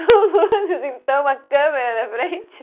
Com luzes, então, a câmera na frente.